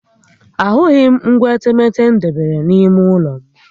Ahụghị m ngwa etemeete m debere n'ime ụlọ m